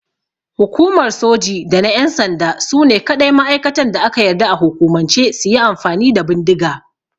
Hukumar Soji da na ƴan sanda sune kaɗai ma'aikatan da aka yarda a hukumance suyi amfani da bindiga.